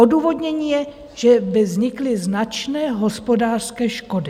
Odůvodnění je, že by vznikly značné hospodářské škody.